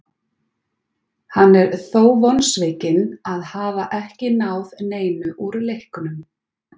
Hann er þó vonsvikinn að hafa ekki náð neinu úr leiknum.